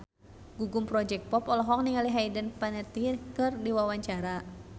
Gugum Project Pop olohok ningali Hayden Panettiere keur diwawancara